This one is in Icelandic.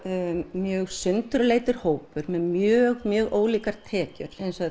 mjög sundurleitur hópur með mjög mjög ólíkar tekjur eins og